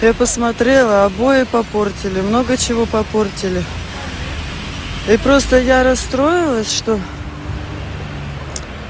я посмотрела обои попортили много чего попортили и просто я расстроилась что